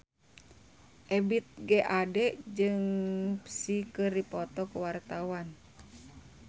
Ebith G. Ade jeung Psy keur dipoto ku wartawan